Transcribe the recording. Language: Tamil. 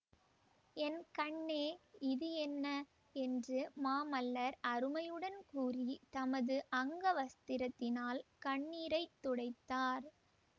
என் கண்ணே இது என்ன என்று மாமல்லர் அருமையுடன் கூறி தமது அங்கவஸ்திரத்தினால் கண்ணீரை துடைத்தார்